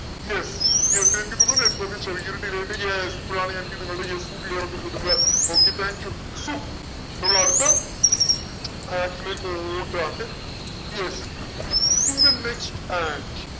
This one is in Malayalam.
yes network ചെറിയൊരു delay ഇപ്പോഴാണ് എനിക്ക് നിങ്ങളുടെ yes ഉം clear ഒക്കെ കിട്ടുന്നത് okay thank you so നമ്മളടുത്ത yes in the next